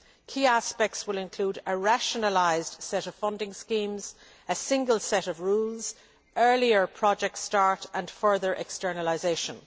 Key aspects will include a rationalised set of funding schemes, a single set of rules, earlier project start dates and further externalisation.